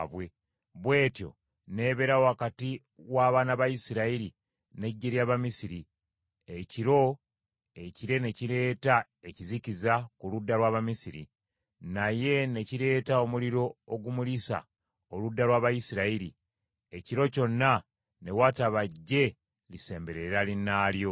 Bw’etyo n’ebeera wakati w’abaana ba Isirayiri n’eggye ly’Abamisiri. Ekiro, ekire ne kireeta ekizikiza ku ludda lw’Abamisiri, naye ne kireeta omuliro okumulisa oludda lw’Abayisirayiri; ekiro kyonna ne wataba ggye lisemberera linnaalyo.